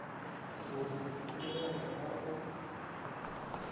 go se tsebege ba go